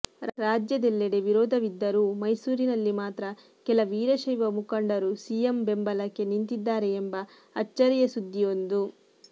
ರಾಜ್ಯದೆಲ್ಲೆಡೆ ವಿರೋಧವಿದ್ದರೂ ಮೈಸೂರಿನಲ್ಲಿ ಮಾತ್ರ ಕೆಲ ವೀರಶೈವ ಮುಖಂಡರು ಸಿಎಂ ಬೆಂಬಲಕ್ಕೆ ನಿಂತಿದ್ದಾರೆ ಎಂಬ ಅಚ್ಚರಿಯ ಸುದ್ದಿಯೊಂದು